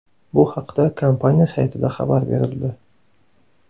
Bu haqda kompaniya saytida xabar berildi.